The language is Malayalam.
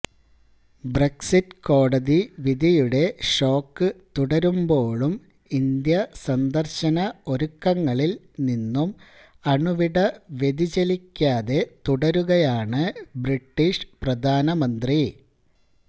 ബ്രെക്സിറ്റ് കോടതി വിധിയുടെ ഷോക്ക് തുടരുമ്പോഴും ഇന്ത്യാ സന്ദർശന ഒരുക്കങ്ങളിൽ നിന്നും അണുവിട വ്യതിചലിക്കാതെ തുടരുകയാണ് ബ്രിട്ടീഷ് പ്രധാനമന്ത്രി